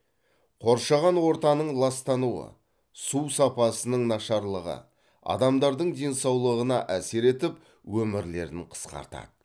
қоршаған ортаның ластануы су сапасының нашарлығы адамдардың денсаулығына әсер етіп өмірлерін қысқартады